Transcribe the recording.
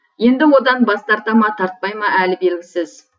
енді одан бас тарта ма тартпай ма әлі белгісіз